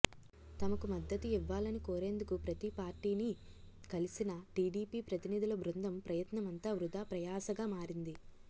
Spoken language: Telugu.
తమకు మద్దతు ఇవ్వాలని కోరేందుకు ప్రతి పార్టీని కలిసిన టీడీపీ ప్రతినిధుల బృందం ప్రయత్నమంతా వృథా ప్రయాసగా మారింది